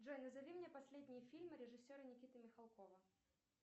джой назови мне последние фильмы режиссера никиты михалкова